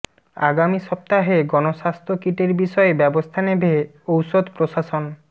আগামী সপ্তাহে গণস্বাস্থ্য কিটের বিষয়ে ব্যবস্থা নেবে ঔষধ প্রশাসন